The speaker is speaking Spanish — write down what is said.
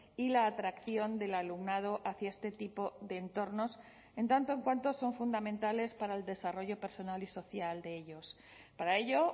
y la atracción del alumnado hacia este tipo de entornos en tanto en cuanto son fundamentales para el desarrollo personal y social de ellos para ello